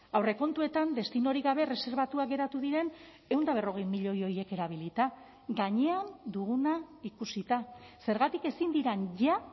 aurrekontuetan destinorik gabe erreserbatuak geratu diren ehun eta berrogei milioi horiek erabilita gainean duguna ikusita zergatik ezin diren ja